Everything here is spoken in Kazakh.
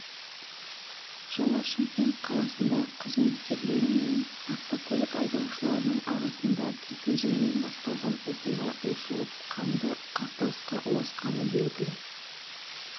жылы шымкент қаласында қызметкерлері мен автокөлік айдаушыларының арасында кикілжіңнен басталған оқиға ушығып қанды қақтығысқа ұласқаны белгілі